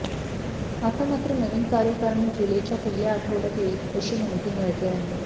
आता मात्र नवीन कार्यकारणी जुलैच्या पहिल्या आठवड्यात येईल अशी माहिती मिळते आहे